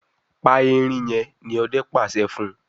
yén pá ẹrin! ní Òde pàṣẹ fún.